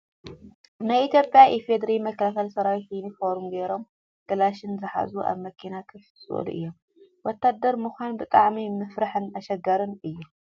ናይ ኢትዮጵያ ኢፌድሪ መከላከያ ሰራዊት ዩኒፎርም ገሮም ካላሽን ዝሓዙ ኣብ መኪና ኮፍ ዝበሉ እዮም። ወታደር ምኳን ብጣዕሚ መፍርሕን ኣሸጋርን እዩ።